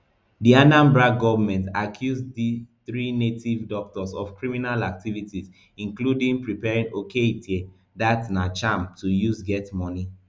di anambra goment accuse di three native doctors of criminal activities including preparing okeite dat na charm to use get money